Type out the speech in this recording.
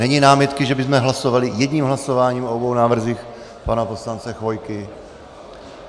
Není námitky, že bychom hlasovali jedním hlasováním o obou návrzích pana poslance Chvojky?